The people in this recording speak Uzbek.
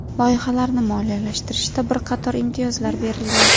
Loyihalarni moliyalashtirishda bir qator imtiyozlar berilgan.